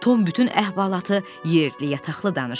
Tom bütün əhvalatı yerli-yatılı danışdı.